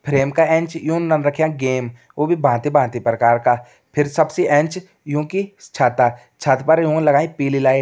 फ्रेम का एंच यून रख्यां गेम वू भी भांति भांति प्रकार का और सबसे एंच यूंकि छता छत पर योन लगाईं पिली लाइट ।